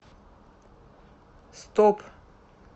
стоп